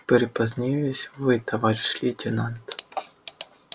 припозднились вы товарищ лейтенант